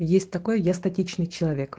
есть такое я статичный человек